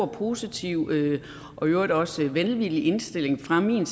positiv og i øvrigt også velvillig indstilling fra min